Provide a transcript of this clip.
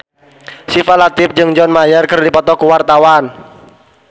Syifa Latief jeung John Mayer keur dipoto ku wartawan